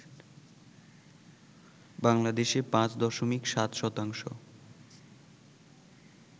বাংলাদেশে ৫ দশমিক ৭ শতাংশ